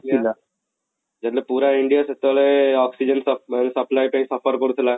ଥିଲା ଯେତେବେଳେ ପୁରା India ସେତେବେଳେ oxygen supply ପାଇଁ suffer କରୁଥିଲା